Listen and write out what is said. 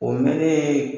O mɛnen